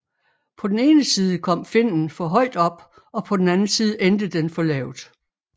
På den ene side kom finnen for højt op og på den anden side endte den for lavt